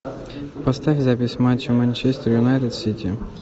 поставь запись матча манчестер юнайтед сити